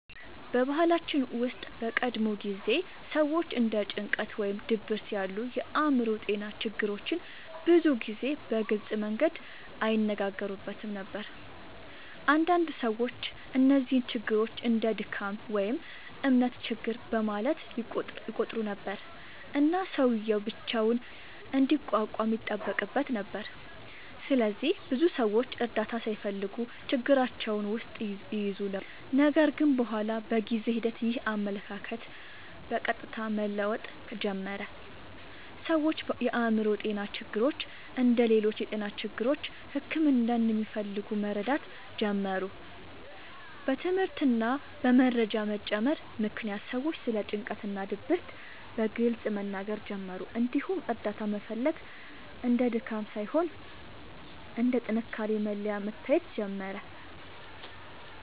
በባህላችን ውስጥ በቀድሞ ጊዜ ሰዎች እንደ ጭንቀት ወይም ድብርት ያሉ የአእምሮ ጤና ችግሮችን ብዙ ጊዜ በግልጽ መንገድ አይነጋገሩበትም ነበር። አንዳንድ ሰዎች እነዚህን ችግሮች እንደ “ድካም” ወይም “እምነት ችግር” በማለት ይቆጥሩ ነበር፣ እና ሰውዬው ብቻውን እንዲቋቋም ይጠበቅበት ነበር። ስለዚህ ብዙ ሰዎች እርዳታ ሳይፈልጉ ችግራቸውን ውስጥ ይይዙ ነበር። ነገር ግን በኋላ በጊዜ ሂደት ይህ አመለካከት በቀስታ መለወጥ ጀመረ። ሰዎች የአእምሮ ጤና ችግሮች እንደ ሌሎች የጤና ችግሮች ሕክምና እንደሚፈልጉ መረዳት ጀመሩ። በትምህርት እና በመረጃ መጨመር ምክንያት ሰዎች ስለ ጭንቀት እና ድብርት በግልጽ መናገር ጀመሩ፣ እንዲሁም እርዳታ መፈለግ እንደ ድካም ሳይሆን እንደ ጥንካሬ መለያ መታየት ጀመረ።